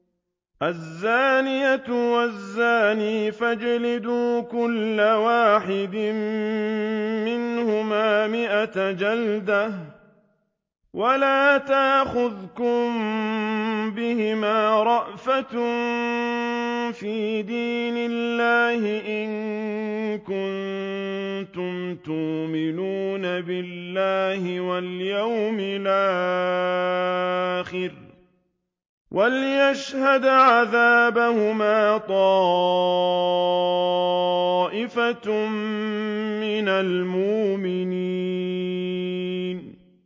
الزَّانِيَةُ وَالزَّانِي فَاجْلِدُوا كُلَّ وَاحِدٍ مِّنْهُمَا مِائَةَ جَلْدَةٍ ۖ وَلَا تَأْخُذْكُم بِهِمَا رَأْفَةٌ فِي دِينِ اللَّهِ إِن كُنتُمْ تُؤْمِنُونَ بِاللَّهِ وَالْيَوْمِ الْآخِرِ ۖ وَلْيَشْهَدْ عَذَابَهُمَا طَائِفَةٌ مِّنَ الْمُؤْمِنِينَ